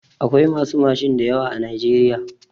Akwai masu mashin da yawa a najeriya.